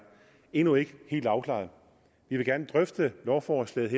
endnu ikke helt afklaret vi vil gerne drøfte lovforslaget